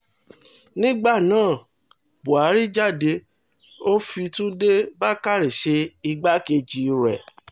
nígbà náà buhari jáde ó fi túnde fi túnde bàkórè ṣe igbákejì rẹ̀